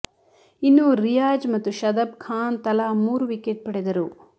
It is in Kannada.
ಇನ್ನು ರಿಯಾಜ್ ಮತ್ತು ಶದಬ್ ಖಾನ್ ತಲಾ ಮೂರು ವಿಕೆಟ್ ಪಡೆದರು